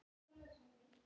Í alvöru!